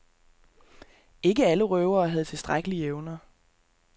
Ikke alle røvere havde tilstrækkelige evner.